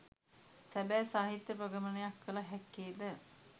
සැබෑ සැහිත්‍ය ප්‍රගමනයක් කළ හැක්කේද